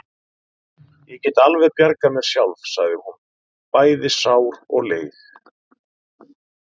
Ég get alveg bjargað mér sjálf, sagði hún, bæði sár og leið.